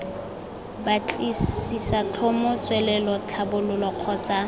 batlisisa tlhomo tswelelo tlhabololo kgotsa